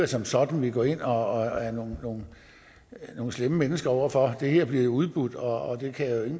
som sådan vi går ind og er nogle slemme mennesker over for det her bliver jo udbudt og